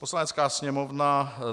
Poslanecká sněmovna